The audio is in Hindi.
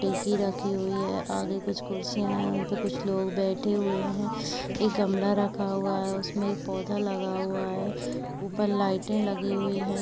टेचि रखी हुई है आगे कुछ कुर्सियां है तो कुछ लोग बैठे हुए है एक गमला रखा हुआ है उसमे एक पौधा लगा हुआ है ऊपर लाइटे लगी हुई है।